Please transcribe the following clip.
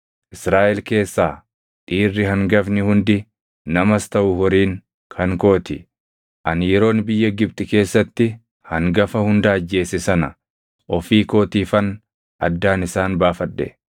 Israaʼel keessaa dhiirri hangafni hundi namas taʼu horiin kan koo ti. Ani yeroon biyya Gibxi keessatti hangafa hunda ajjeese sana ofii kootiifan addaan isaan baafadhe.